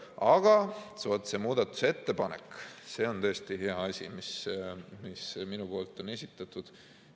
Aga vaat see muudatusettepanek on tõesti hea asi, mis minu poolt on esitatud.